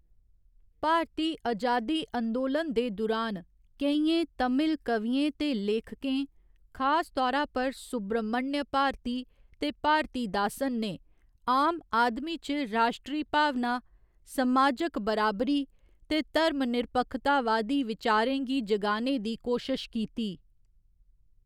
भारती अजादी अंदोलन दे दुरान, केइयें तमिल कवियें ते लेखकें, खास तौरा पर सुब्रमण्य भारती ते भारतीदासन, ने आम आदमी च राश्ट्री भावना, समाजक बराबरी ते धर्मनिरपक्खतावादी विचारें गी जगाने दी कोशश कीती।